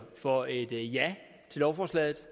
for et ja til lovforslaget